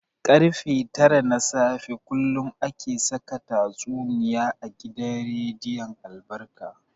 Karfe tara na safe kullum ake saka tatsuniya a gidan rediyon albarka.